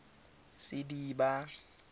sediba